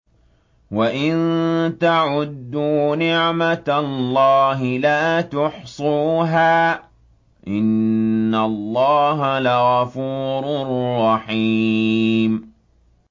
وَإِن تَعُدُّوا نِعْمَةَ اللَّهِ لَا تُحْصُوهَا ۗ إِنَّ اللَّهَ لَغَفُورٌ رَّحِيمٌ